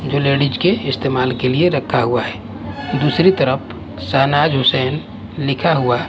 जो लेडीज के इस्तेमाल के लिए रखा हुआ है दूसरी तरफ शहनाज हुसैन लिखा हुआ --